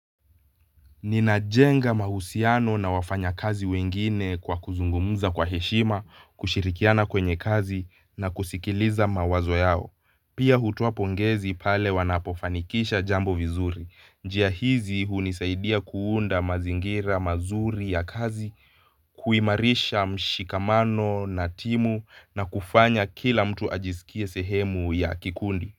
Ninajenga mahusiano na wafanyakazi wengine kwa kuzungumuza kwa heshima, kushirikiana kwenye kazi na kusikiliza mawazo yao. Pia hutoa pongezi pale wanapofanikisha jambo vizuri. Njia hizi hunisaidia kuunda mazingira mazuri ya kazi, kuimarisha mshikamano na timu na kufanya kila mtu ajisikie sehemu ya kikundi.